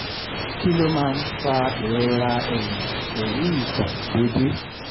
kí ló máa ń fa ìrora ẹ̀yìn pelu ito dede?